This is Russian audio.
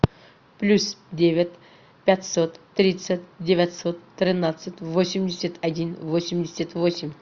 плюс девять пятьсот тридцать девятьсот тринадцать восемьдесят один восемьдесят восемь